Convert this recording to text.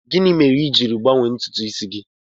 Gịnị mere i ji gbanwee ntutu isi gị?